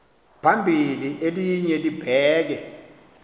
phambili elinye libheke